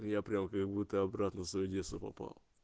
я прямо как будто обратно в своё детство попал